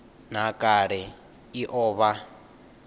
nha kale i o vha